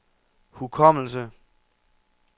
hukommelse